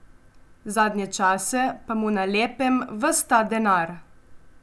Zadnje čase pa mu na lepem ves ta denar.